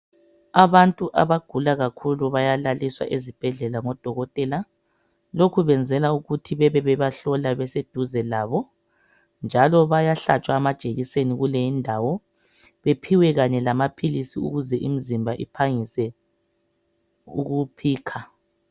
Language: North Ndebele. Abantu abagula kakhulu bayalaliswa ezibhedlela ngodokotela; lokho benzela ukuthi babe bebahlola beseduze labo njalo bayahlatshwa amajekiseni kuleyondawo bephiwe lamaphilisi ukuze imzimba iphangise ukuphikha